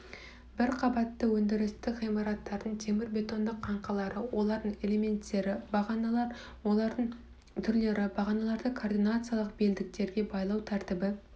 бір қабатты өндірістік ғимараттардың темірбетондық қаңқалары олардың элементтері бағаналар олардың түрлері бағаналарды координациялық белдіктерге байлау тәртібі